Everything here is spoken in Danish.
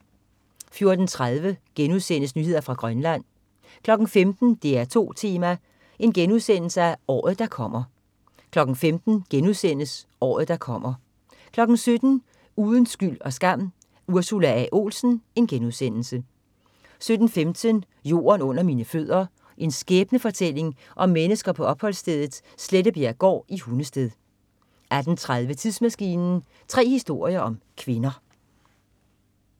14.30 Nyheder fra Grønland* 15.00 DR2 Tema: Året der kommer* 15.00 Året der kommer* 17.00 Uden skyld og skam: Ursula A. Olsen* 17.15 Jorden under mine fødder. En skæbnefortælling om mennesker på opholdsstedet Slettebjerggård i Hundested 18.30 Tidsmaskinen. Tre historier om kvinder